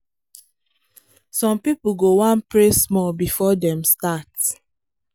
to lis ten well dey make hospital run smooth